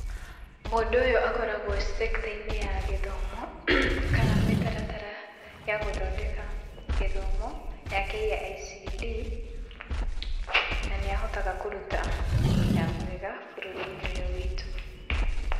Mũndũ ũyũ koragwo e sector-inĩ ya gĩthomo, kana mĩtaratara ya gũthondeka gĩthomo ya KICD, na nĩahotaga kũruta wĩra mwega bũrũri-inĩ ũyũ witũ.